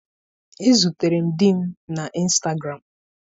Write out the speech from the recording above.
Ezutere m di m na Ịnstagram.